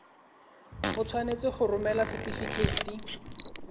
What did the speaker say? o tshwanetse go romela setefikeiti